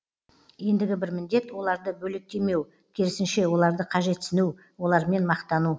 ендігі бір міндет оларды бөлектемеу керісінше оларды қажетсіну олармен мақтану